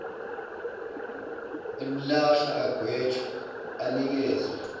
limlahla agwetshwe anikezwe